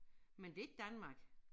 Men det ikke Danmark